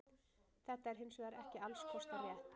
Þetta er hins vegar ekki alls kostar rétt.